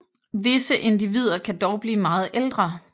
Visse individer kan dog blive meget ældre